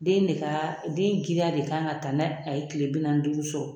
Den de ka den girinya de kan ka ta ni a ye tile bi naani ni duuru sɔrɔ